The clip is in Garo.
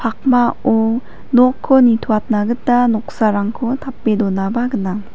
pakmao nokko nitoatna gita noksarangko tape donaba gnang.